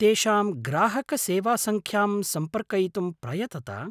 तेषां ग्राहकसेवासङ्ख्यां सम्पर्कयितुं प्रयतत।